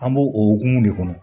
An b'o o hokumu de kɔnɔ